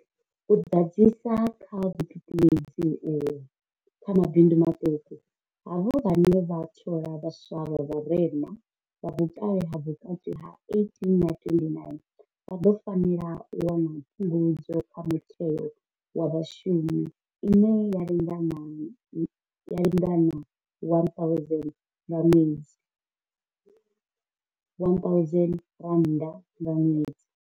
U ḓadzisa kha vhuṱuṱuwedzi uho kha mabindu maṱuku, havho vhane vha thola vhaswa vha vharema, vha vhukale ha vhukati ha 18 na 29, vha ḓo fanela u wana Phungudzo kha Muthelo wa Vhashumi ine ya lingana R1 000 nga ṅwedzi.